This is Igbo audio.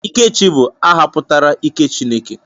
Ikechi bụ aha pụtara 'ike Chineke'